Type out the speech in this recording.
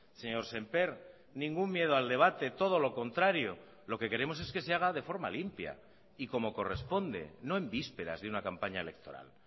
señor sémper ningún miedo al debate todo lo contrario lo que queremos es que se haga de forma limpia y como corresponde no en vísperas de una campaña electoral